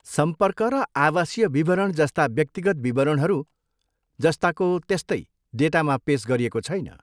सम्पर्क र आवासीय विवरण जस्ता व्यक्तिगत विवरणहरू जस्ताको तेस्तै डेटामा पेस गरिएको छैन।